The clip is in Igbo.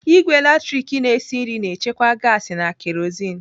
Ìgwè latrik na-esi nri na-echekwa gaasi na kerozin.